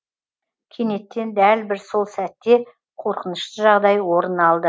кенеттен дәл бір сол сәтте қорқынышты жағдай орын алды